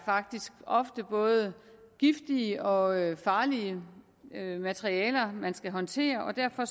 faktisk ofte er både giftige og farlige materialer man skal håndtere og derfor